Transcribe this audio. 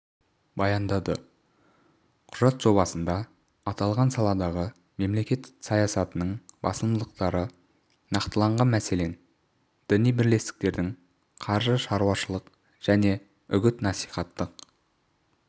баяндады құжат жобасында аталған саладағы мемлекет саясатының басымдықтары нақтыланған мәселен діни бірлестіктердің қаржылық-шаруашылық және үгіт-насихаттық